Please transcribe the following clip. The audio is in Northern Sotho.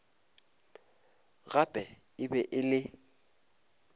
gape e be e le